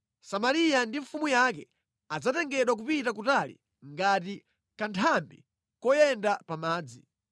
Samariya ndi mfumu yake adzatengedwa kupita kutali ngati kanthambi koyenda pa madzi.